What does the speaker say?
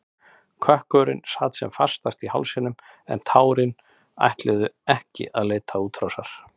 Kökkurinn sat sem fastast í hálsinum en tárin ætluðu ekki að leita útrásar.